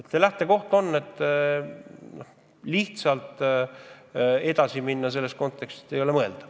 Seega lähtekoht on, et lihtsalt vanaviisi edasi minna ei ole mõeldav.